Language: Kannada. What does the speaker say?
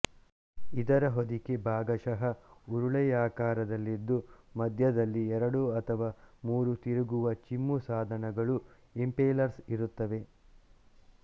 ಇದರ ಹೊದಿಕೆ ಭಾಗಶಃ ಉರುಳೆಯಾಕಾರದಲ್ಲಿದ್ದು ಮಧ್ಯದಲ್ಲಿ ಎರಡು ಅಥವಾ ಮೂರು ತಿರುಗುವ ಚಿಮ್ಮು ಸಾಧನಗಳು ಇಂಪೆಲರ್ಸ್ ಇರುತ್ತವೆ